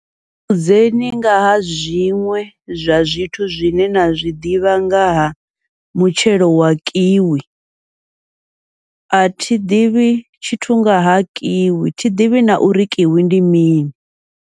Ri vhudzeni ngaha zwiṅwe zwa zwithu zwine na zwiḓivha ngaha mutshelo wa kiwi, athi ḓivhi tshithu ngaha kiwi thi ḓivhi na uri kiwi ndi mini.